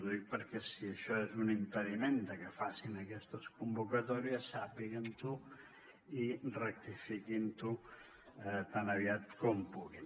ho dic perquè si això és un impediment perquè facin aquestes convocatòries sàpiguen ho i rectifiquin ho tan aviat com puguin